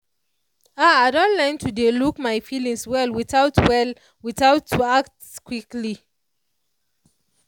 ah i don learn to dey look my feelings well without well without to act quickly.